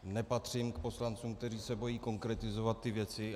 Nepatřím k poslancům, kteří se bojí konkretizovat ty věci.